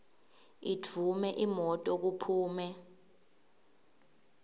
idvume imoto kuphume